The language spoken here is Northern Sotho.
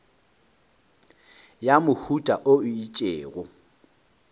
ya mohuta wo o itšego